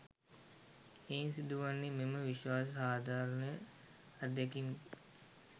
එයින් සිදු වන්නේ මෙම විශ්ව සාධාරණ අත්දැකීම